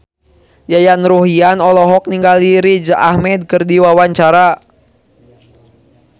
Yayan Ruhlan olohok ningali Riz Ahmed keur diwawancara